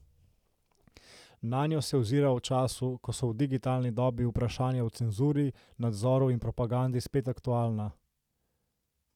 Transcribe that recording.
Nanjo se ozira v času, ko so v digitalni dobi vprašanja o cenzuri, nadzoru in propagandi spet aktualna.